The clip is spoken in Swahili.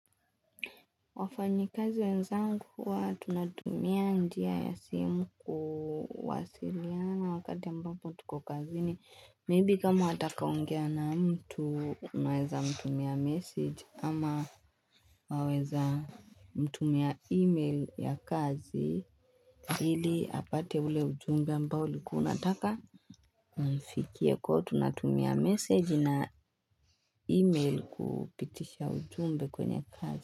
Wafanyi kazi wenzangu huwa tunatumia njia ya simu kuwasiliana wakati ambapo tuko kazini labda kama wataka kuongea na mtu unaweza kumtumia message ama waweza kumtumia email ya kazi Hili apate ule ujumbe ambao ulikuwa unataka imfikie kwa tunatumia message email kupitisha ujumbe kwenye kazi.